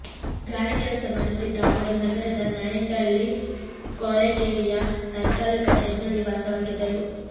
ಗಾರೆ ಕೆಲಸ ಮಾಡುತ್ತಿದ್ದ ಅವರು ನಗರದ ನಾಯಂಡಹಳ್ಳಿ ಕೊಳೆಗೇರಿಯ ತಾತ್ಕಾಲಿಕ ಶೆಡ್ನಲ್ಲಿ ವಾಸವಾಗಿದ್ದರು